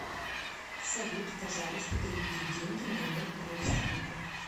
салют пожалуйста переведи деньги моему родственнику